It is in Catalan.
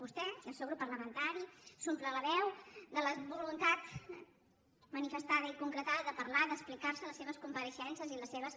vostè i el seu grup parlamentari s’omplen la veu de la voluntat manifestada i concretada de parlar d’explicar se en les seves compareixences i les seves